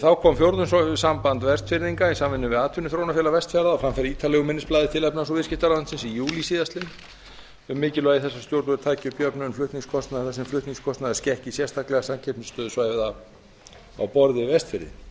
þá kom fjórðungssamband vestfirðinga í samvinnu við atvinnuþróunarfélag vestfjarða á framfæri ítarlegu minnisblaði dags sjöunda júlí tvö þúsund og ellefu til efnahags og viðskiptaráðuneytisins um mikilvægi þess að stjórnvöld taki upp jöfnun flutningskostnaðar þar sem flutningskostnaður skekki samkeppnisstöðu svæða á borð við vestfirði umræða um jöfnun flutningskostnaðar